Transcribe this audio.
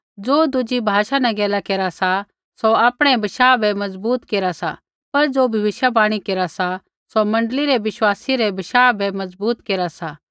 ज़ो दुज़ी भाषा न गैला केरा सा सौ आपणै ही बशाह बै मजबूत केरा सा पर ज़ो भविष्यवाणी केरा सा सौ मण्डली रै विश्वासी रै बशाह बै मजबूत केरा सा